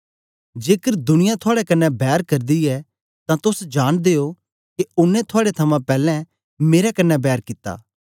जेकर दुनिया थुआड़े कन्ने बैर करदी ऐ तां तोस जांनदे ओ के ओनें थुआड़े थमां पैलैं मेरे कन्ने बैर कित्ती